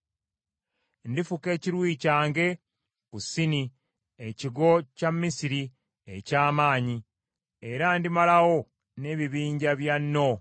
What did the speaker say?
Ndifuka ekiruyi kyange ku Sini, ekigo kya Misiri eky’amaanyi, era ndimalawo n’ebibinja bya No.